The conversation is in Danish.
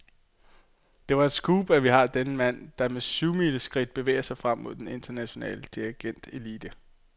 Det er et scoop, at vi har denne mand, der med syvmileskridt bevæger sig frem mod den internationale dirigentelite.